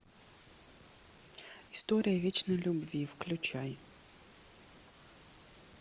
история вечной любви включай